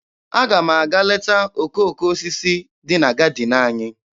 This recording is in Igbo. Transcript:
Aga m aga leta okooko osisi dị na gadịn anyị